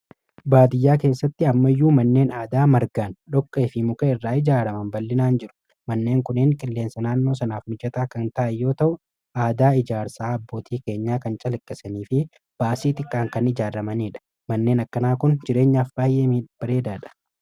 Baadiyyaa keessatti amma iyyuu manneen aadaa margaan dhokke fi mukee irraa ijaaraman bal'inaan jiru manneen kuniin qilleensa naannoo sanaaf mijataa kan ta'iyyoo ta'u aadaa ijaarsaa abbootii keenya kan calikkisanii fi baasii xiqqaan kan ijaarramanii dha manneen akkanaa kun jireenyaaf baayyee bareedaa dha.